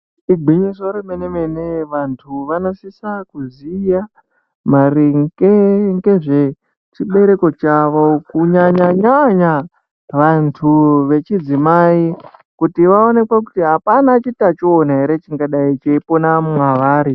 Gwinyiso remenemene vantu vonosisa kuziya maringe ngezve chibereko chavo kunyanya vantu vechidzimai kuti vaoneke kuti apa utachiwana ere chingaidai cheipona mwavari.